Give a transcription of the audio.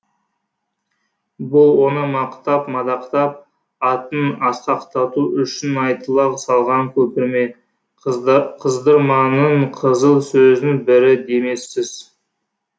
бұл оны мақтап мадақтап атын асқақтату үшін айтыла салған көпірме қыздырманың қызыл сөзінің бірі демессіз